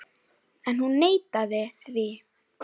En hún neitaði því.